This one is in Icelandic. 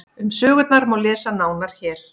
Um sögurnar má lesa nánar hér.